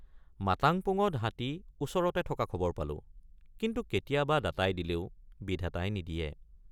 মাতাংপুঙত হাতী ওচৰতে থকা খবৰ পালো কিন্তু কেতিয়াব৷ দাতাই দিলেও বিধাতাই নিদিয়ে।